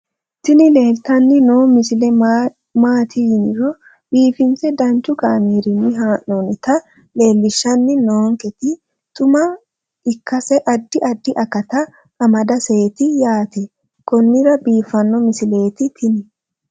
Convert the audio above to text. tini leeltanni noo misile maaati yiniro biifinse danchu kaamerinni haa'noonnita leellishshanni nonketi xuma ikkase addi addi akata amadaseeti yaate konnira biiffanno misileeti tini